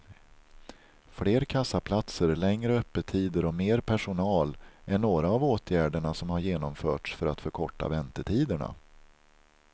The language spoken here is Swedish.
Fler kassaplatser, längre öppettider och mer personal är några av åtgärderna som har genomförts för att förkorta väntetiderna.